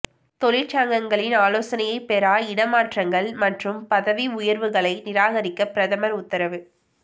தொழிற்சங்கங்களின் ஆலோசனையை பெறா இடமாற்றங்கள் மற்றும் பதவி உயர்வுகளை நிராகரிக்க பிரதமர் உத்தரவு